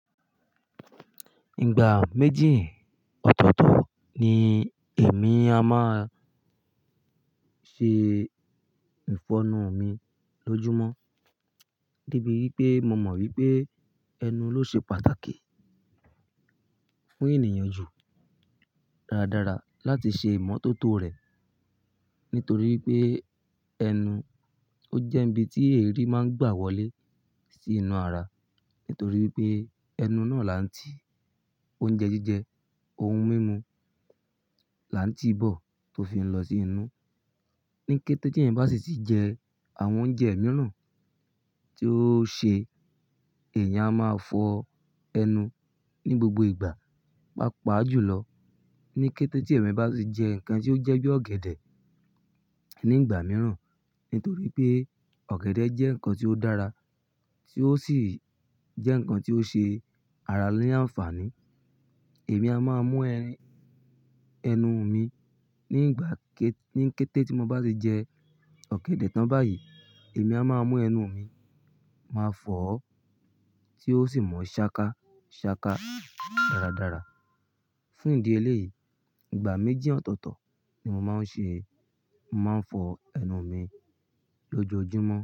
Ìgbà méjì ọ̀tọ̀ọ̀tọ̀ ni èmi a máa ṣe ìfọnu mi lójúmọ́. Debi wípé mo mọ̀ wípé ẹnu ló ṣe pàtàkì fún ènìyàn jù dáradára láti ṣe ìmọ́tótó rè. Nítorí pé ẹnu ó jẹ́ ibi tí èérí máa ń gbà wọlé sí inú ara. Nítorí pé ẹnu náà là ń tí oúnjẹ jíjẹ, ohun mímu là ń tí bọ̀ tó fi ń lọ sí inú. Ní kété tí ẹ̀eyan bá sì ti jẹ àwọn oúnjẹ mìíràn tí ó ṣe, èèyàn a máa fọ ẹnu ní gbogbo ìgbà, pàpa jùlọ ní kété tí ẹ̀mi bá sì jẹ nǹkan tí ó jẹ́ bí ọ̀gẹ̀dẹ̀ ní ìgbà mìíràn. Nítorí pé ọ̀gẹ̀dẹ̀ jẹ́ nǹkan tí ó dára tí ó sì jẹ́ nǹkan tí ó ṣe ara ní àǹfààní. Èmi a máa mú ẹnu mi nígbà ké-- ní kété tí mo bá sì jẹ ọ̀gẹ̀dẹ̀ tán báyìí, èmi a máa mú ẹnu mi, màá fọ̀ ó tí yió sì mọ́ ṣáká ṣáká dáradára. Fún ìdí eléyìí, ìgbà méjì ọ̀tọ̀ọ̀tọ̀ ni mo máa ń ṣe, mo màá ń fọ ẹnu mi lójoójúmọ́.